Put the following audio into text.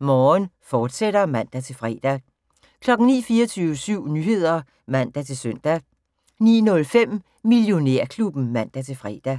Morgen, fortsat (man-fre) 09:00: 24syv Nyheder (man-søn) 09:05: Millionærklubben (man-fre)